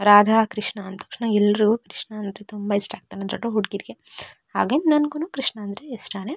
ರಾಧಾ-ಕೃಷ್ಣ ಅಂದ್ ತಕ್ಷಣ ಎಲ್ರುಗೂ ಕೃಷ್ಣ ಅಂದ್ರೆ ತುಂಬ ಇಷ್ಟ ಆಗ್ತಾನೆ ಹುಡ್ಗಿರಿಗೆ. ಹಾಗೇನೇ ನಂಗು ಕೃಷ್ಣ ಅಂದ್ರೆ ಇಷ್ಟಾನೇ.